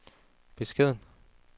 beskeden